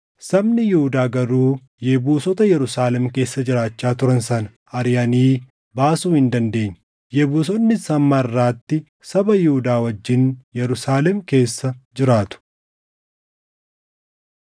Sabni Yihuudaa garuu Yebuusota Yerusaalem keessa jiraachaa turan sana ariʼanii baasuu hin dandeenye; Yebuusonnis hamma harʼaatti saba Yihuudaa wajjin Yerusaalem keessa jiraatu.